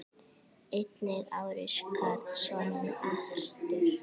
Einnig á Richard soninn Arthur.